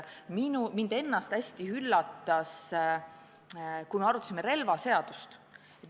Mind näiteks väga üllatas saalis kogetu, kui me arutasime relvaseadust.